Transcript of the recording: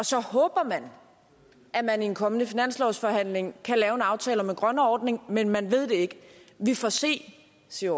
så håber man at man i en kommende finanslovsforhandling kan lave en aftale om en grønnere ordning men man ved det ikke vi får se siger